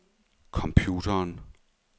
computeren